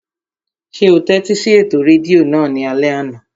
Ṣé o tẹ́tí sí ètò rédíò náà ní alẹ́ àná?